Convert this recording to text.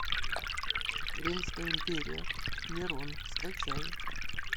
римская империя нейрон скачай